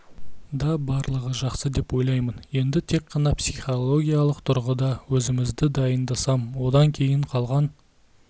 да барлығы жақсы деп ойлаймын енді тек қана психологиялық тұрғыда өзімізді дайындасам одан кейін қалған